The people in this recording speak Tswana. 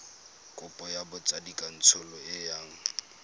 kopo ya botsadikatsholo e yang